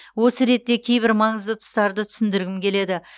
осы ретте кейбір маңызды тұстарды түсіндіргім келеді